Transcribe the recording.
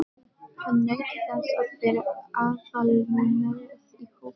Hann naut þess að vera aðalnúmerið í hópnum.